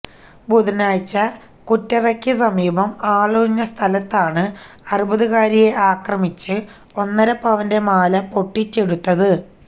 ബുധനാഴ്ച കുറ്ററയ്ക്ക് സമീപം ആളൊഴിഞ്ഞ സ്ഥലത്താണ് അറുപതുകാരിയെ ആക്രമിച്ച് ഒന്നരപ്പവന്റെ മാലപൊട്ടിച്ചെടുത്തത്